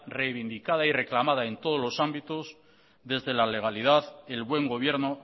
revindicada y reclamada en todos los ámbitos desde la legalidad el buen gobierno